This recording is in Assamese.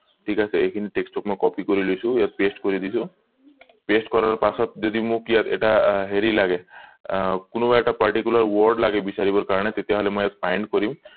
ঠিক আছে এইখিনি text টো copy কৰি লৈছো ইয়াত paste কৰি দিছো paste কৰাৰ পাছত যদি মোক ইয়াত এটা হেৰি আহ লাগে আহ কোনোবা এটা particular word লাগে বিছাৰিব কাৰণে তেতিয়া হলে মই ইয়াত find কৰিম